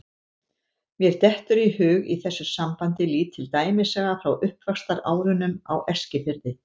Mér dettur í hug í þessu sambandi lítil dæmisaga frá uppvaxtarárunum á Eskifirði.